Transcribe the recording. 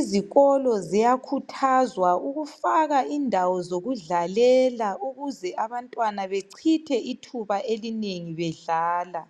lzikolo ziyakhuthazwa ukufaka indawo zokudlalela, ukuze abantwana bachithe ithuba elinengi, bedlala.